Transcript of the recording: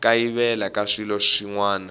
kayivela ka swilo swin wana